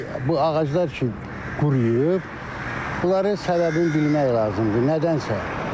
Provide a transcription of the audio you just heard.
İndi bu ağaclar ki, quruyub, bunların səbəbini bilmək lazımdır, nədənsə.